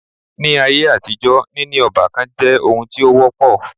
Ní áyé àtijọ́ níní ọ́bàkan jẹ́ oun tí o wọ́pọ̀.